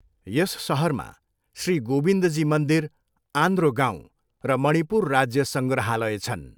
यस सहरमा श्री गोविन्दजी मन्दिर, आन्द्रो गाउँ र मणिपुर राज्य सङ्ग्रहालय छन्।